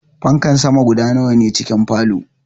Fankar sama guda nawa ne cikin a falow?